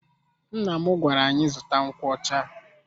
Nna m gwara anyị zụta nkwocha.